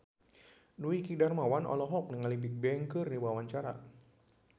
Dwiki Darmawan olohok ningali Bigbang keur diwawancara